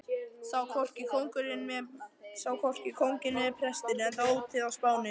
Sá hvorki kónginn né prestinn, enda ótíð á Spáni.